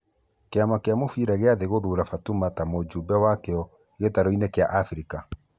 Kĩama gĩa mũbira gĩa thĩ gũthura Fatuma ta mũjumbe wakĩo gĩtaroinĩ gĩa Afrika.